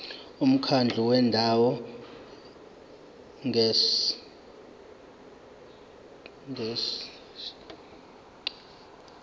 umkhandlu wendawo ngerss